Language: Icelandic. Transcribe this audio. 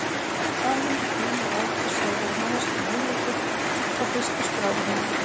Samhengi tíma og aldurs hefur verið manneskjunni hugleikið allt frá fyrstu skráðu heimildum.